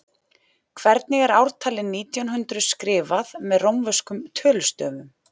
Hvernig er ártalið nítján hundruð skrifað með rómverskum tölustöfum?